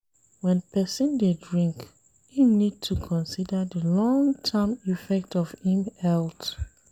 When person dey drink im need to consider di long term effect on im health